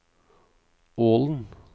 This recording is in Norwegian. Ålen